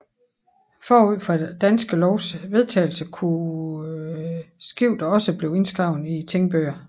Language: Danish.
Forud for Danske Lovs vedtagelse kunne skifter også blive indskrevet i tingbøger